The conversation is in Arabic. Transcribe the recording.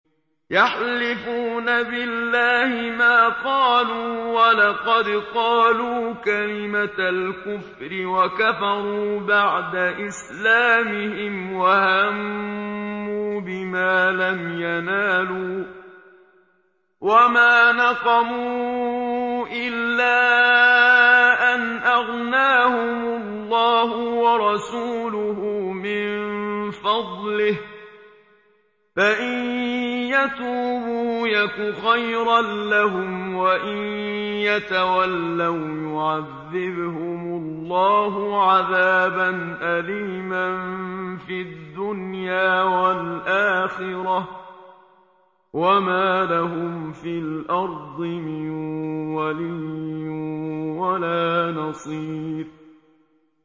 يَحْلِفُونَ بِاللَّهِ مَا قَالُوا وَلَقَدْ قَالُوا كَلِمَةَ الْكُفْرِ وَكَفَرُوا بَعْدَ إِسْلَامِهِمْ وَهَمُّوا بِمَا لَمْ يَنَالُوا ۚ وَمَا نَقَمُوا إِلَّا أَنْ أَغْنَاهُمُ اللَّهُ وَرَسُولُهُ مِن فَضْلِهِ ۚ فَإِن يَتُوبُوا يَكُ خَيْرًا لَّهُمْ ۖ وَإِن يَتَوَلَّوْا يُعَذِّبْهُمُ اللَّهُ عَذَابًا أَلِيمًا فِي الدُّنْيَا وَالْآخِرَةِ ۚ وَمَا لَهُمْ فِي الْأَرْضِ مِن وَلِيٍّ وَلَا نَصِيرٍ